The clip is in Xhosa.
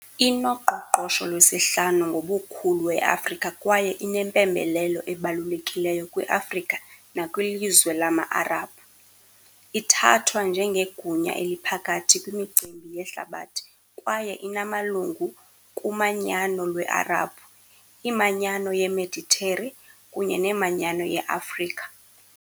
Inoqoqosho lwesihlanu ngobukhulu e-Afrika kwaye inempembelelo ebalulekileyo kwi-Afrika nakwilizwe lama-Arabhu, ithathwa njengegunya eliphakathi kwimicimbi yehlabathi kwaye inamalungu kuManyano lweArabhu, iManyano yeMediteri kunye neManyano yeAfrika.